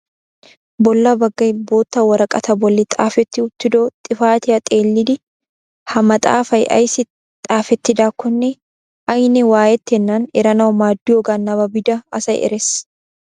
Bolla baggay bootta woraqataa bolli xaafetti uttido xifatiyaa xeellidi ha maaxafay ayssi xaafettidaakkone ayne waayettenana eranawu maaddiyooga nababida asay erees.